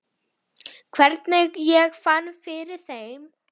Hvernig ég fann fyrir þeim?